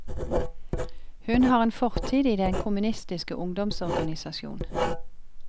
Hun har en fortid i den kommunistiske ungdomsorganisasjon.